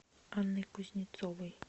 анной кузнецовой